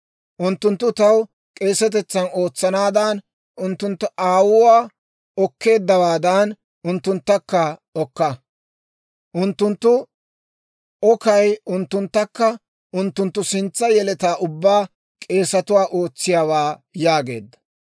Unttunttu taw k'eesetetsan ootsanaadan, unttunttu aawuwaa okkeeddawaadan, unttunttakka okka. Unttunttu okkay unttunttakka unttunttu sintsa yeletaa ubbaa k'eesatuwaa ootsiyaawaa» yaageedda.